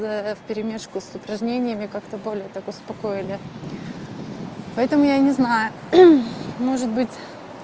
вперемежку с упражнениями как-то более так успокоили поэтому я не знаю может быть